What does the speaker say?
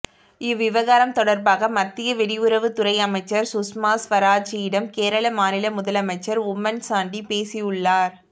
இவ்விவகாரம் தொடர்பாக மத்திய வெளியுறவுத் துறை அமைச்சர் சுஷ்மாஸ்வராஜிடம் கேரள மாநில முதலமைச்சர் உம்மன் சாண்டி பேசியுள்ளார்